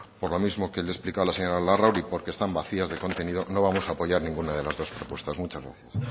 por lo mismo que le he explicado a la señora larrauri porque están vacías de contenido no vamos a apoyar ninguna de las dos propuestas muchas gracias